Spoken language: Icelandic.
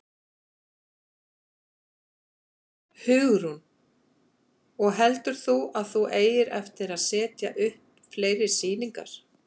Hugrún: Og heldur þú að þú eigir eftir að setja upp fleiri sýningar?